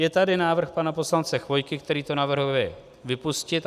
Je tady návrh pana poslance Chvojky, který to navrhuje vypustit.